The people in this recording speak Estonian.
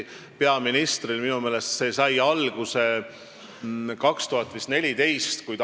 Peaministril on tõesti võimalik valdkonnapõhiselt otsustada ministrite tööjaotus.